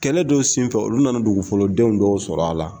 Kɛlɛ don senfɛ olu nana dugu fɔlɔdenw dɔw sɔrɔ a la!